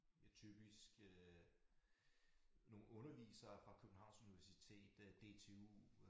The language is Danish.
Typisk øh nogle undervisere fra Københavns Universitet DTU